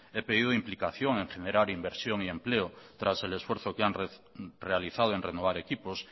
he pedido implicación en generar inversión y empleo tras el esfuerzo que han realizado en renovar equipos